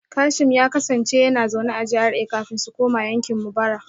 Kashim ya kasance yana zaune a GRA kafin su koma yankin mu bara